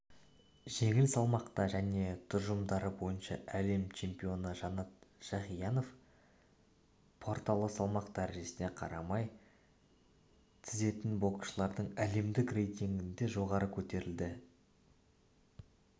жеңіл салмақта және тұжырымдары бойынша әлем чемпионы жанат жақиянов порталы салмақ дәрежесіне қарамай тізетін боксшылардың әлемдік рейтингінде жоғары көтерілді